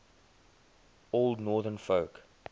old northern folk